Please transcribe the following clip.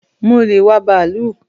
Mo le wá bàálù